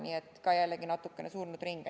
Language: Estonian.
Nii et jällegi natukene surnud ring.